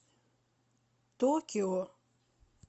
токио